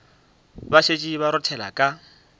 ba šetše ba rothela ka